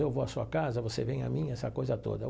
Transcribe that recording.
Eu vou à sua casa, você vem à minha, essa coisa toda.